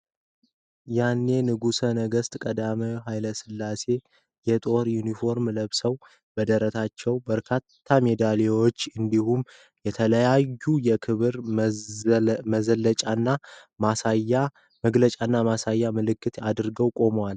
ያኔ ንጉሠ ነገሥት ቀዳማዊ ኃይለ ሥላሴ የጦር ዩኒፎርም ለብሰዋል። በደረታቸው በርካታ ሜዳሊያዎች እንዲሁም የተለያዩ የክብር መዘለጫና ማሳያ ምልክቶች አድርገው ቆመዋል።